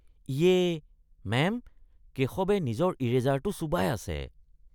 ইয়ে! মেম, কেশৱে নিজৰ ইৰেজাৰটো চোবাই আছে।